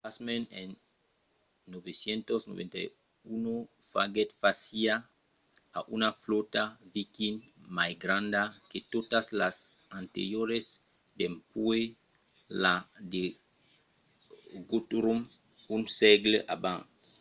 pasmens en 991 faguèt fàcia a una flòta viking mai granda que totas las anterioras dempuèi la de guthrum un sègle abans